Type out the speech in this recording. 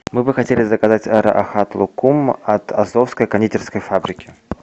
мы бы хотели заказать рахат лукум от азовской кондитерской фабрики